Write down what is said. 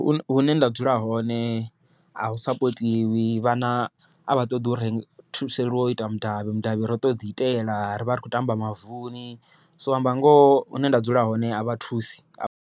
Hune nda dzula hone a hu sapotiwi vhana a vha ṱoḓi u ri thuseliwa u iteliwa mudavhi, mudavhi ro to ḓi itela ri vha ri khou tamba mavuni so u amba ngoho hune nda dzula hone a vha thusi a